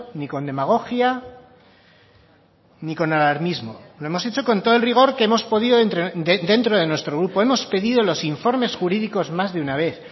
ni con demagogia ni con alarmismo lo hemos hecho con todo el rigor que hemos podido dentro de nuestro grupo hemos pedido los informes jurídicos más de una vez